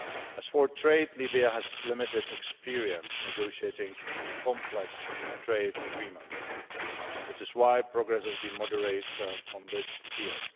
As for trade, Libya has limited experience negotiating complex trade agreements. This is why progress has been moderate in this field.